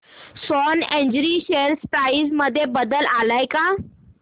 Swan Energy share price मध्ये बदल आलाय का